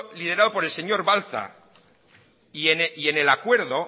liderado por el señor balza y en el acuerdo